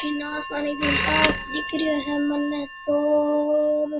बठन आसामान एकदम साफ़ दिख रहे है मैंने तो और --